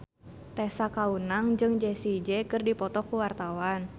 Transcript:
Tessa Kaunang jeung Jessie J keur dipoto ku wartawan